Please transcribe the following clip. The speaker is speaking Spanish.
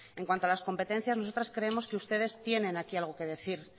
en cuanto a las competencias nosotros creemos que ustedes tienen aquí algo que decir